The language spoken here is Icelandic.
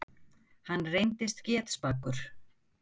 Hann reyndist getspakur.